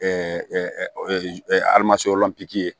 ye